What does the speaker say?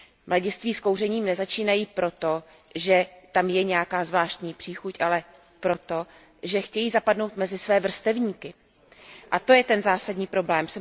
Mladiství s kouřením nezačínají proto, že tam je nějaká zvláštní příchuť, ale proto, že chtějí zapadnout mezi své vrstevníky, a to je ten zásadní problém.